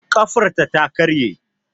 Ƙafarta ta karye